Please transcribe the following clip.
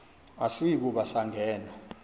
asiyi kuba sangena